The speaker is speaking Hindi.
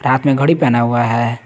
हाथ मे घड़ी पहना हुआ है।